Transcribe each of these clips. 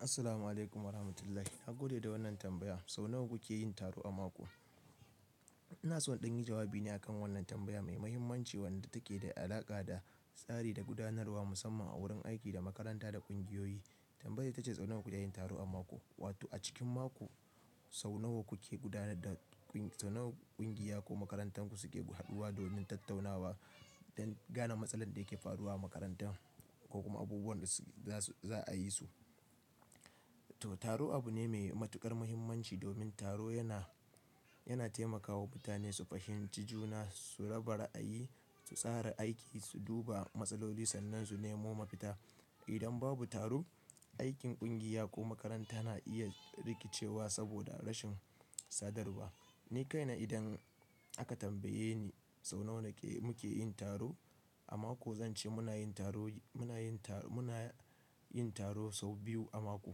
Assalamu'alaikum warahmatullahi. Na gode da wannan tambaya, Sau nawa kuke yin taro a mako? Ina so in ɗan yi jawabi ne akan wannan tambaya mai mahimmanci wadda take da alaƙa da tsari da gudanarwa musamman a wurin aiki da makaranta da ƙungiyoyi. Tambayar ita ce sau nawa kuke yin taro a mako? Wato a cikin mako, sau nawa kuke gudanar da sau nawa ƙungiya ko makarantar ku suke haduwa domin tattaunawa don gane matsalar da yake faruwa a makarantar ko kuma abubuwan da za su, za a yi su. Toh taro abu ne mai matuƙar muhimmanci domin taro yana, yana taimakawa mutane su fahimci juna, su raba ra'ayi, su tsara aiki, su duba matsaloli sannan su nemo mafita. Idan babu taro, aikin ƙungiya ko makaranta na iya rikicewa saboda rashin sadarwa. Ni kaina idan aka tambaye ni sau nawa muke yin taro a mako, zan ce muna yin taro, muna yin tar-muna yin taro sau biyu a mako.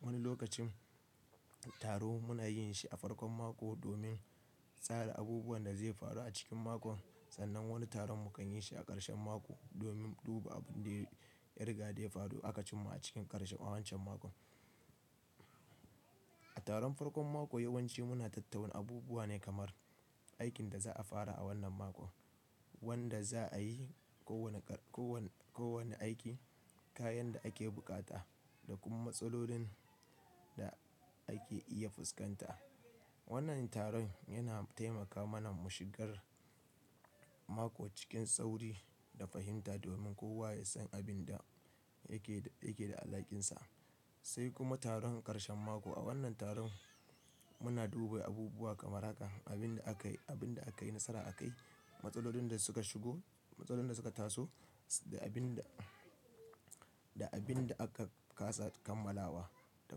Wani lokacin taro muna yin shi a farkon mako domin tsara abubuwan da zai faru a cikin mako sannan wani taron mu kan yin shi a ƙarshen mako domin duba abin da ya riga da ya faru aka cimma a cikin ƙarshe a wancan mako. A taron farkon mako yawanci muna tattauna abubuwa ne kamar, aikin da za'a fara a wannan mako, wanda za a yi ko wane ƙar-ko wanne, ko wanne aiki, kayan da ake bukata da kuma matsalolin da ake iya fuskanta. Wannan taron yana taimaka mana mu shigar mako cikin sauri da fahimta domin kowa ya san abin da yake, yake da alaƙinsa. Sai kuma taron ƙarshen mako. A wannan taron muna duba abubuwa kamar haka, abin da aka yi, abin da aka yi nasara aka yi, matsalolin da suka shigo, matsalolin da suka taso da abin da, da abin da aka ƙasa kammalawa da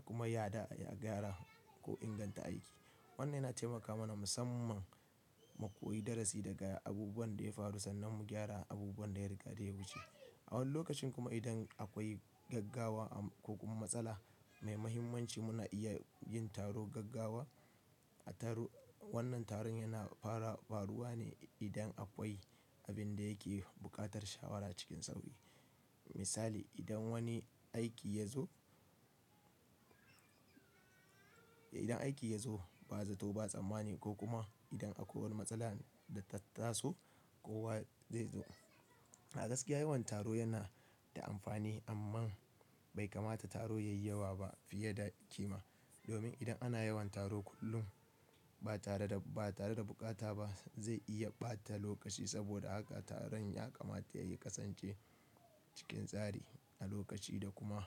kuma yadda a gyara ko inganta aiki. Wannan yana taimaka mana musamman mu koyi darasi daga abubuwan da ya faru sannan mu gyara abubuwan da ya riga da ya buce. A wani lokacin kuma idan akwai gaggawa ko kuma matsala, mai mahimmanci muna iya yin taron gaggawa. A taru-- wannan taron yana fara faruwa ne idan akwai abin da yake buƙatar shawara cikin sauri. Misali idan wani aiki ya zo, idan aiki ya zo ba zato ba tsammani kpkumsgko kuma idan akwai wani matsala da ta taso, kowa zai zo. A gaskiya yawan taro yana da amfani amma bai kamata taro yayi yawa ba fiye da kima. Domin idan ana yawan taro kullum ba tare da, ba tare da bukata ba zai iya ɓata lokaci saboda haka taron ya kamata yayi kasance cikin tsari a lokaci da kuma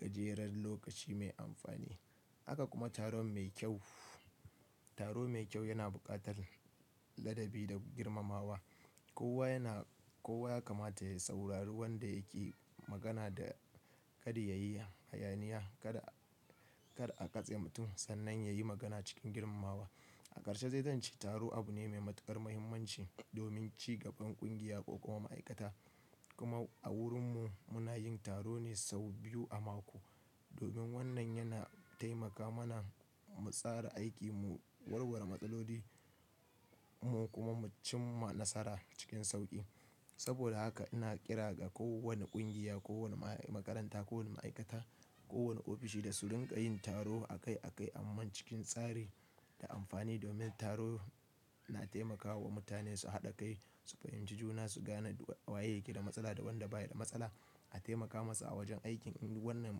gajerar lokaci mai amfani. Haka kuma taron mai kyau, taro mai kyau yana buƙatar ladabi da girmamawa. Kowa yana, kowa ya kamata ya saurari wanda yake magana da kada ya yi hayaniya. Kada, kar a katse mutum sannan ya yi magana cikin girmamawa. A ƙarshe zai zance taro abu ne mai matuƙar mahimmanci, domin cigaban ƙungiya ko kuma ma'aikata. Kuma a wurinmu muna yin taro ne sau biyu a mako. Domin wannan yana taimaka mana mu tsara aiki, mu warware matsaloli mu kuma mu cimma nasara cikin sauƙi. Saboda haka ina ƙira ga kowane ƙungiya, ko wane ma'aikanta, ko wane ofishi da su rinƙa yin taro a kai a kai amma cikin tsari da amfani domin taro na taimakawa mutane su haɗa kai, su fahimci juna, su gane waye yake da matsala da wanda baya da matsala, a taimaka masa a wajen aikin in wannan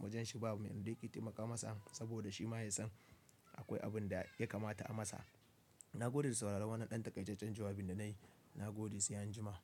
wajenshi babu mai rikitimaka masa saboda shi ma ya san akwai abin da ya kamata a masa. Na gode da sauraron wannan ɗan takaijinjin jawabin da na yi. Na gode sai anjima.